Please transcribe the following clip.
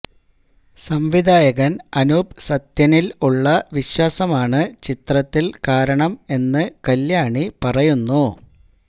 സംവിധായകന് അനൂപ് സത്യനില് ഉള്ള വിശ്വാസമാണ് ചിത്രത്തില് കാരണം എന്ന് കല്യാണി പറയുന്നു